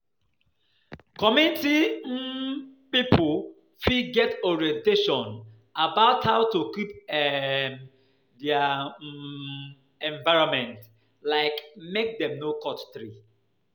Community um pipo fit get orientation about how to keep um their[um] environment, like make dem no cut tree